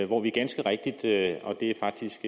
hvor vi ganske rigtigt det er faktisk